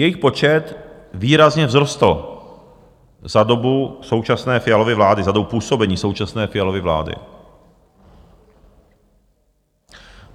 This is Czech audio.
Jejich počet výrazně vzrostl za dobu současné Fialovy vlády, za dobu působení současné Fialovy vlády.